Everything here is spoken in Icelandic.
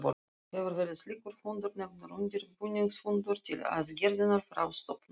Hér verður slíkur fundur nefndur undirbúningsfundur til aðgreiningar frá stofnfundi.